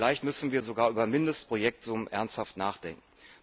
Vielleicht müssen wir sogar über Mindestprojektsummen ernsthaft nachdenken.